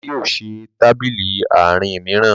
bàbá yóò ṣe Tábìlì Àárín míràn